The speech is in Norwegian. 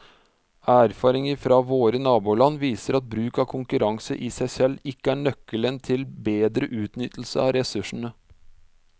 Erfaringer fra våre naboland viser at bruk av konkurranse i seg selv ikke er nøkkelen til bedre utnyttelse av ressursene.